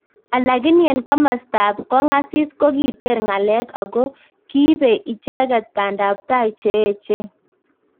Alakini en komastab kongasis kokiter ngalek ago kiibe icheket pandai tai cheechen